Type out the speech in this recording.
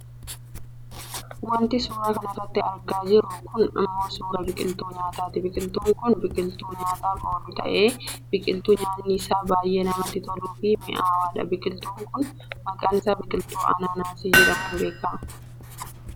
Wanti suuraa kanarratti argaa jiru kun ammoo suuraa biqiltuu nyaataati. Biqiltuun kun biqiltuu nyaataaf oolu ta'ee biqiltuu nyaanni isaa baayyee namatti toluufi mi'aawudha. Biqiltuun kun maqaan isaan biqiltuu Ananaasii jedhamuun beekkamudha.